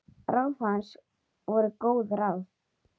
Ráð hans voru góð ráð.